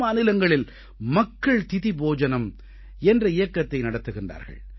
பல மாநிலங்களில் மக்கள் திதி போஜனம் என்ற இயக்கத்தை நடத்துகிறார்கள்